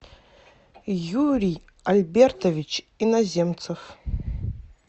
юрий альбертович иноземцев